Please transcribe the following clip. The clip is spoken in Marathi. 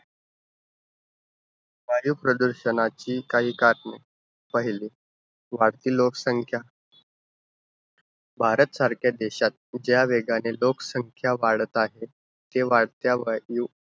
वायुप्रदूषणाची काही कारणे. पहिलं. वाढती लोकसंख्या. भारतसारख्या देशात ज्या वेगाने लोकसंख्या वाढत आहे, ते वाढत्या वायू